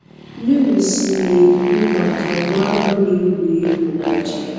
Lewis na-ekwu maka nwa ahụ na-egwuri egwu na aja